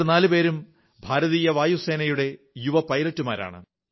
ഇവർ നാലുപേരും ഭാരതീയ വായുസേനയുടെ യുവ പൈലറ്റുമാരാണ്